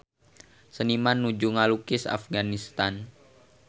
Seniman nuju ngalukis Afganistan